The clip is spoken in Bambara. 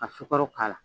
Ka sukaro k'a la